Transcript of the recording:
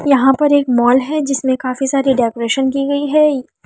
यहां पर एक मॉल है जिसमें काफी सारी डेकोरेशन की गई है ई --